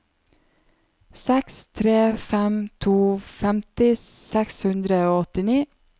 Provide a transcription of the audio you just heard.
seks tre fem to femti seks hundre og åttini